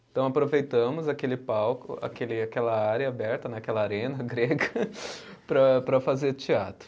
Então aproveitamos aquele palco, aquele aquela área aberta né, aquela arena grega, para para fazer teatro.